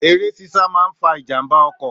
Èré sísà maà ń fà jà ḿbà ọ̀kò